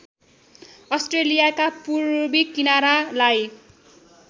अस्ट्रेलियाका पूर्वी किनारालाई